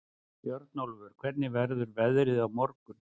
Björnólfur, hvernig verður veðrið á morgun?